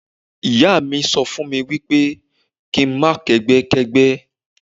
Ìyá mi sọ fún mi pé kí n má kẹ́gbẹ́ kẹ́gbẹ́.